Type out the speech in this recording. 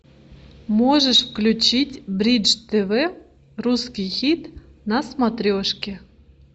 можешь включить бридж тв русский хит на смотрешке